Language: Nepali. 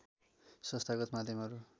संस्थागत माध्यमहरू